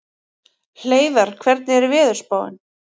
Hleiðar, hvernig er veðurspáin?